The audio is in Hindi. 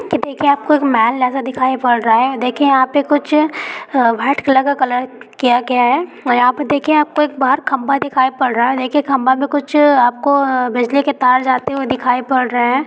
कि देखिए आपको एक महल जैसा दिखाई पड़ रहा है देखे यहां पे कुछ व्हाइट कलर का कलर किया गया है और यहां पर देखिए आपको बाहर खम्भा दिखाई पड़ रहा है देखिए खम्भा में कुछ आपको बिजली के तार जाते हुए दिखाई पड़ रहे है।